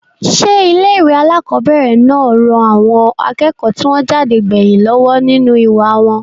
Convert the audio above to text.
sé ilé ìwé àkọ́bẹ̀rẹ̀ náà ran àwọn akẹ́kọ̀ọ́ tí wọ́n jáde gbẹ̀yìn lọ́wọ́ nínú ìwà wọn?